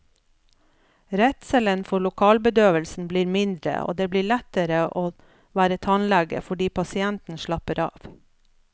Redselen for lokalbedøvelsen blir mindre og det blir lettere å være tannlege fordi pasienten slapper av.